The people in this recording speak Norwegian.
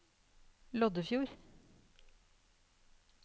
Loddefjord